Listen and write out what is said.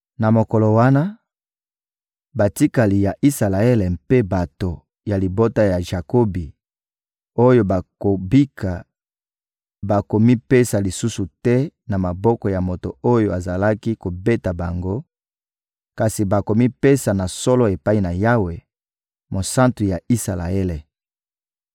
Na mokolo wana, batikali ya Isalaele mpe bato ya libota ya Jakobi oyo bakobika bakomipesa lisusu te na maboko ya moto oyo azalaki kobeta bango; kasi bakomipesa na solo epai na Yawe, Mosantu ya Isalaele.